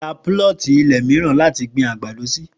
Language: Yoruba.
Ra púlọ̀tì ilẹ̀ mìíràn láti gbin àgbàdo sí